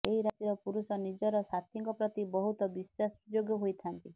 ଏହି ରାଶିର ପୁରୁଷ ନିଜର ସାଥୀଙ୍କ ପ୍ରତି ବହୁତ ବିଶ୍ବାସଯୋଗ୍ୟ ହୋଇଥାନ୍ତି